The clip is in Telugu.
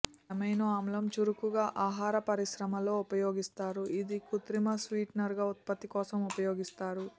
ఈ అమైనో ఆమ్లం చురుకుగా ఆహార పరిశ్రమలో ఉపయోగిస్తారు ఇది కృత్రిమ స్వీటెనర్ ఉత్పత్తి కోసం ఉపయోగిస్తారు